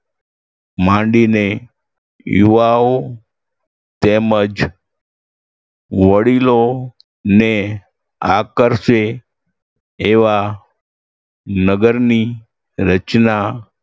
માંડીને યુવાઓ તેમજ વડીલોને આકર્ષે એવા નગરની રચના